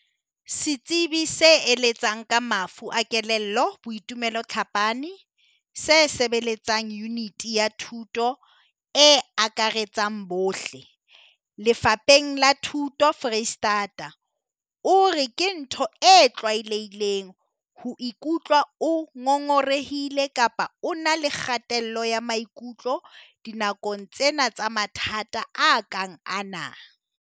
Setsebi se eletsang ka mafu a kelello Boitumelo Tlhapane, se sebeletsang Yuniti ya Thuto e Akaretsang bohle, Lefapheng la Thuto Freistata, o re ke ntho e tlwaelehileng ho ikutlwa o ngongorehile kapa o na le kgatello ya maikutlo dinakong tsena tsa mathata a kang ana.